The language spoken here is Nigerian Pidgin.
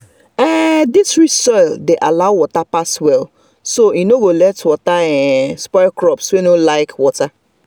this rich soil dey allow water pass well so e no go let water spoil crops wey no like water.